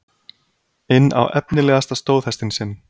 inn á efnilegasta stóðhestinn sinn.